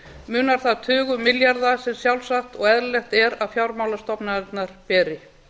munar þar tugum milljarða sem sjálfsagt og eðlilegt er að fjármálastofnanirnar beri